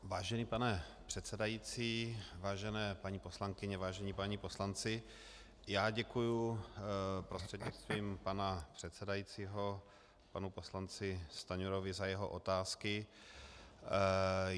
Vážený pane předsedající, vážené paní poslankyně, vážení páni poslanci, já děkuji prostřednictvím pana předsedajícího panu poslanci Stanjurovi za jeho otázky.